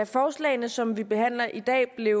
forslagene som vi behandler i dag